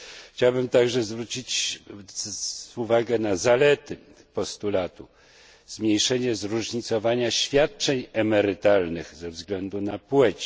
Chciałbym także zwrócić uwagę na zalety postulatu zmniejszenia zróżnicowania świadczeń emerytalnych ze względu na płeć.